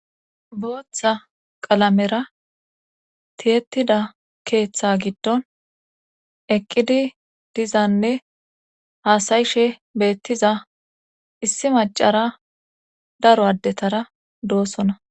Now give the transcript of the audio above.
booththa qalamera tiyettida keeththa giddon eqqidi dizanne haasayishe beettiza issi macara daro addetara doosona